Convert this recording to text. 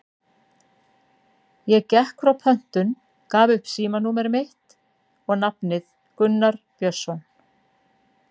Ég gekk frá pöntun, gaf upp símanúmer mitt og nafnið Gunnar Björnsson.